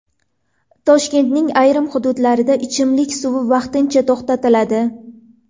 Toshkentning ayrim hududlarida ichimlik suvi vaqtincha to‘xtatiladi.